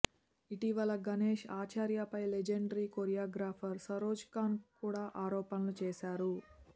ఇటీవల గణేష్ ఆచార్యపై legendary choreographer Saroj Khan కూడా ఆరోపణలు చేశారు